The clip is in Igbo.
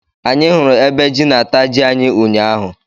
Anyị hụrụ ebe jị na- ata jị anyị ụnyaahụ